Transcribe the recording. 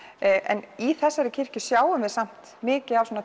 en í þessari kirkju sjáum við samt mikið af